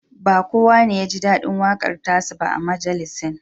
Ba kowa ne ya ji daɗin waƙar ta sa ba a majalisin